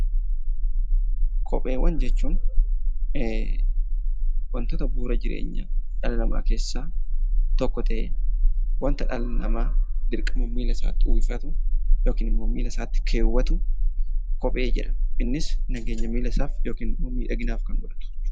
Kopheewwan jechuun; wantoota bu'uura jireenya dhala namaa keessa tokkoo ta'ee wanta dhalli namaa dirqama milla isaatti uffifaatu ykn Immoo milla isaatti keewaatu kophee jedhama. Innis nageenya milla isaaf ykn immoo miidhaginaf Kan godhatudha.